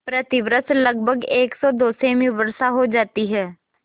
प्रतिवर्ष लगभग सेमी वर्षा हो जाती है